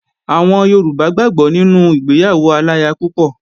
Àwọn Yorùbá gbàgbó nínú ìgbéyàwó aláya púpọ̀